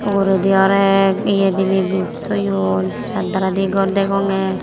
uguredi oley ye diney di toyon saat dalai de gor degongey.